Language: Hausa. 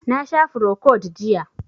Na sha frocod jiya